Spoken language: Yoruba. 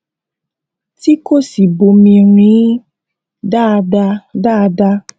tí kò sì bomi rin ín dáadáa dáadáa